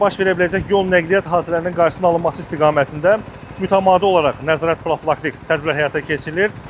Baş verə biləcək yol nəqliyyat hadisələrinin qarşısının alınması istiqamətində mütəmadi olaraq nəzarət profilaktik tədbirlər həyata keçirilir.